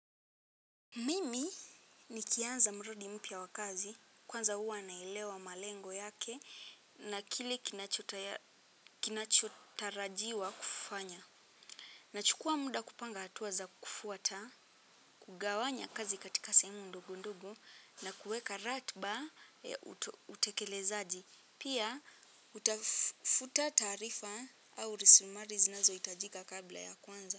Mimi nikianza mradi mpya wa kazi, kwanza huwa naelewa malengo yake na kile kinachotarajiwa kufanya. Nachukua muda kupanga hatua za kufuata, kugawanya kazi katika sehemu ndogo ndogo na kuweka ratiba ya utekelezaji. Pia, hutafuta taarifa au risumari zinazohitajika kabla ya kuanza.